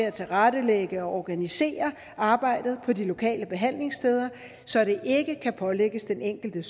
at tilrettelægge og organisere arbejdet på de lokale behandlingssteder så det ikke kan pålægges den enkelte